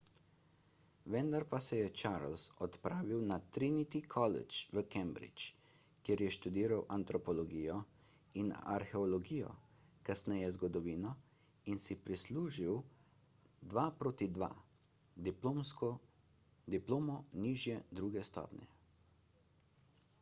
vendar pa se je charles odpravil na trinity college v cambridge kjer je študiral antropologijo in arheologijo kasneje zgodovino in si prislužil 2:2 diplomo nižje druge stopnje